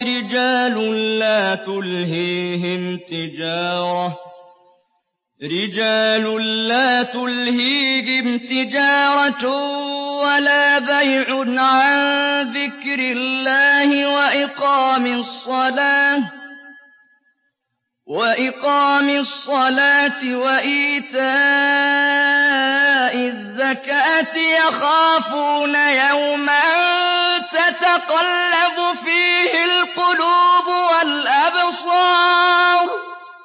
رِجَالٌ لَّا تُلْهِيهِمْ تِجَارَةٌ وَلَا بَيْعٌ عَن ذِكْرِ اللَّهِ وَإِقَامِ الصَّلَاةِ وَإِيتَاءِ الزَّكَاةِ ۙ يَخَافُونَ يَوْمًا تَتَقَلَّبُ فِيهِ الْقُلُوبُ وَالْأَبْصَارُ